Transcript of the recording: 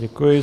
Děkuji.